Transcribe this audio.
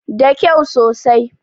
Da kau sosai